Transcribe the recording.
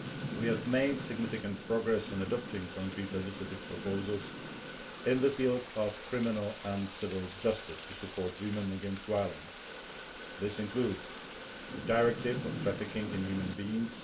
We have made significant progress in adopting concrete legislative proposals in the field of criminal and civil justice to support women against violence. This includes the Directive on Trafficking in Human Beings